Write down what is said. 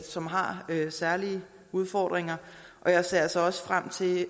som har særlige udfordringer og jeg ser altså også frem til